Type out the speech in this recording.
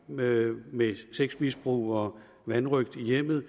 med med sexmisbrug og vanrøgt i hjemmet i